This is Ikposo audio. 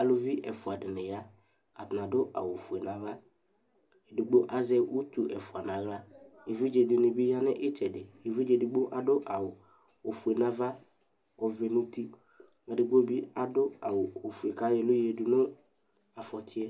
Aluvi ɛfua di ya adu awu ofue nava ɔluedigbo asɛ utu ɛfua nu aɣla evidzedini bi ya nu itsɛdi ku adu awu ofue nava ɔvɛ nu uti ɔluedigbo bi adu awu ofue kayɔ ɛlu yadu nu afɔtiɛ